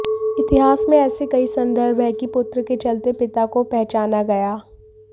इतिहास में ऐसे कई संदर्भ हैं कि पुत्र के चलते पिता को पहचाना गया